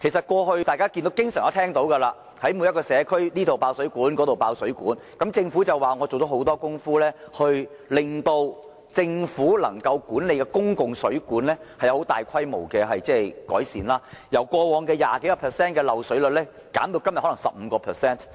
過去大家經常聽聞各個社區出現爆水管事件，但政府表示已做了很多工夫，令政府所管理的公共水管有大規模改善，由過往多於 20% 的漏水率，減至今天的 15%。